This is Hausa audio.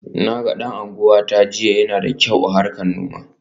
Na ga dan uwanta jiya, yana da kyau a harkar noma.